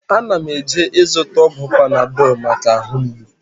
Ana m eje ịzụta ọgwụ Panadọl maka ahụ mgbụ